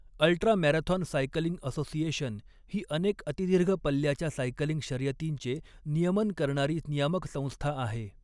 Ultra marathon cycling association' ही अनेक अतिदीर्घ पल्ल्याच्या सायकलिंग शर्यतींचे नियमन करणारी नियामक संस्था आहे.